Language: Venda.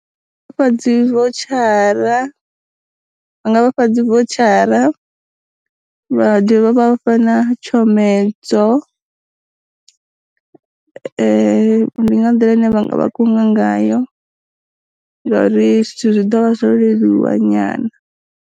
Fha dzi votshara, vha nga vha fha dzi votshara, vha dovha vha fha na tshomedzo ndi nga nḓila ine vha vha kunga ngayo, ngori zwithu zwi ḓovha zwo leluwa nyana.